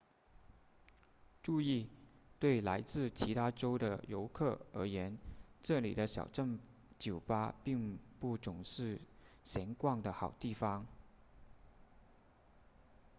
注意对来自其他州的游客而言这里的小镇酒吧并不总是闲逛的好地方